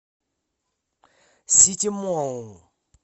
сити молл